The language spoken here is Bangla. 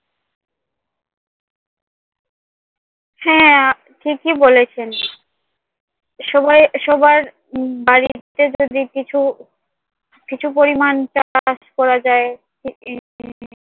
হ্যাঁ আপনি ঠিকই বলেছেন। সবাই সবার বাড়িতে যদি কিছু কিছু পরিমাণ চাষ করা যায়